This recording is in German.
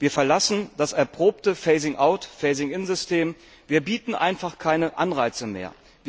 Wir verlassen das erprobte Phasing out Phasing in System, wir bieten einfach keine Anreize mehr.